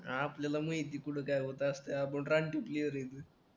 आपल्याला माहिती कुठे काय होत असतं आपण रानटी प्लेयर आहे एकदम